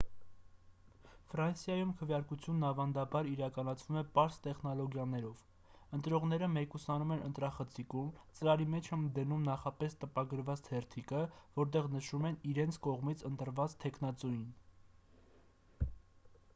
ֆրանսիայում քվեարկությունն ավանդաբար իրականացվում է պարզ տեխնոլոգիաներով ընտրողները մեկուսանում են ընտրախցիկում ծրարի մեջ են դնում նախապես տպագրված թերթիկը որտեղ նշում են իրենց կողմից ընտրված թեկնածուին